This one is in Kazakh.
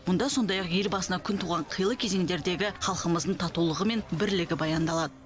мұнда сондай ақ ел басына туған қилы кезеңдердегі халқымыздың татулығы мен бірлігі баяндалады